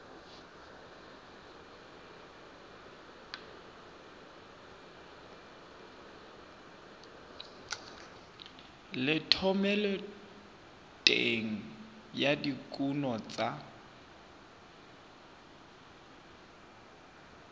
le thomeloteng ya dikuno tsa